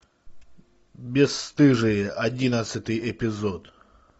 бесстыжие одиннадцатый эпизод